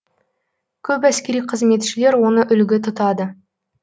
көп әскери қызметшілер оны үлгі тұтады